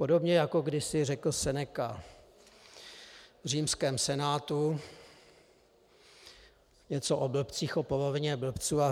Podobně jako kdysi řekl Seneca v římském senátu něco o blbcích, o polovině blbců, a